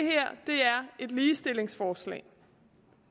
et ligestillingsforslag